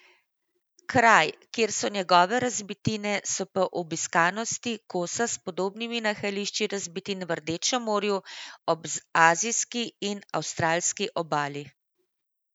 Kraj, kjer so njegove razbitine, se po obiskanosti kosa s podobnimi nahajališči razbitin v Rdečem morju, ob azijski in avstralski obali.